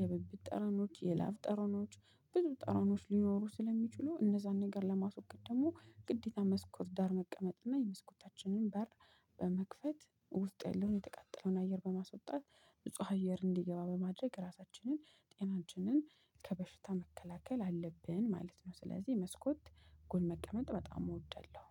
የብብት ጠረኖች የላብ ጠረኖች ብዙ ጠረኖች ሊኖሩ ስለሚችሉ እነዛን ነገር ለማስወገድ ደግሞ ግዴታ መስኮት ዳር መቀመጥ እና የመስኮታችንን በር በመክፈት ውስጥ ያለውን የተቃጠለውን አየር በማስወጣት ብፁዕ አየር እንዲገባ በማድረግ ራሳችንን ጤናችንን ከበሽታ መከላከል አለብን። ማለት ነው ስለዚህ መስኮት ጎን መቀመጥ በጣም እወደድለው